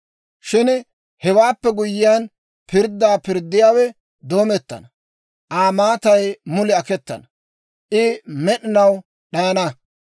« ‹Shin hewaappe guyyiyaan, pirddaa pirddiyaawe doomettana; Aa maatay mulii aketana; I med'inaw d'ayana.